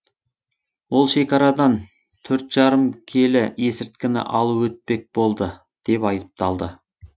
ол шекарадан төрт жарым келі есірткіні алып өтпек болды деп айыпталды